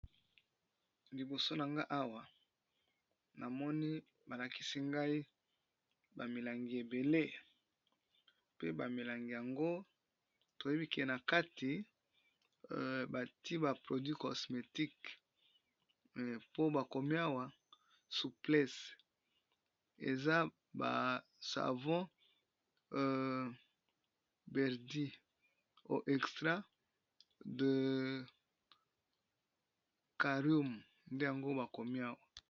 Awa namoni balakisi biso ba milangi ebele namoni nakati ya bamilangi oyo batiye ba produit oyo babenga savon likide